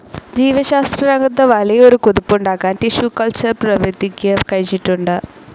ജീവശാസ്ത്രരംഗത്ത് വലിയ ഒരു കുതിപ്പുണ്ടാക്കാൻ ടിഷ്യൂ കൾച്ചർ പ്രവിധിക്ക് കഴിഞ്ഞിട്ടുണ്ട്.